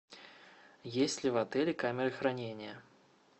есть ли в отеле камеры хранения